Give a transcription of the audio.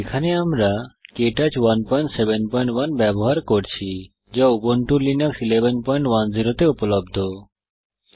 এখানে আমরা Ubuntu Linux 1110 এ কে টচ 171 ব্যবহার করছি